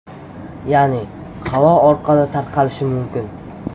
Ya’ni havo orqali tarqalishi mumkin.